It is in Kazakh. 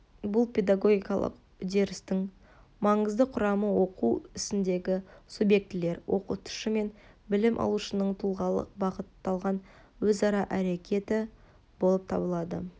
бұл педагогикалық үдерістің маңызды құрамы оқу ісіндегі субъектілер оқытушы мен білім алушының тұлғалық-бағытталған өзара әрекеті болып табылады